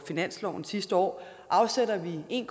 finansloven sidste år afsætter vi en